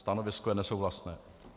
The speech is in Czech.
Stanovisko je nesouhlasné.